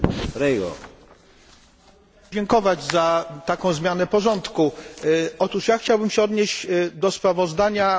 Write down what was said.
Chciałbym odnieść się do sprawozdania dotyczącego preliminarza dochodów i wydatków Parlamentu na rok